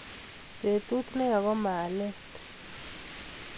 Betut ne ya ko malet